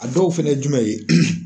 A dɔw fɛnɛ ye jumɛn ye ?